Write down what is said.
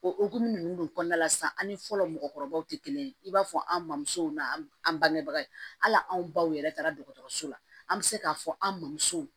O okumu nunnu de kɔnɔna la sisan an ni fɔlɔ mɔgɔkɔrɔbaw te kelen ye i b'a fɔ an mɔmusow n'an an bangebaga ye hali anw baw yɛrɛ taara dɔgɔtɔrɔso la an bɛ se k'a fɔ an mamuso